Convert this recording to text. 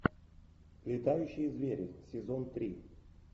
летающие звери сезон три